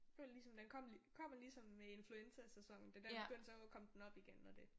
Føler ligesom den kom kommer ligesom med influenza sæsonen det der begyndte så kom den op igen og det